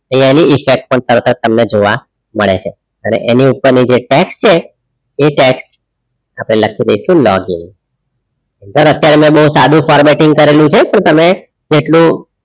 એની effect પણ તરત જ તમને જોવા મળે છે અને એની ઉપરની જે text છે એ text આપડે લખી દઇશું log in sir અત્યારે મે બવ સાદું formatting કરેલું છે તો તમે જેટલું,